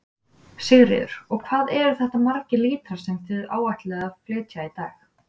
Sigríður: Og hvað eru þetta margir lítrar sem þið áætlið að flytja í dag?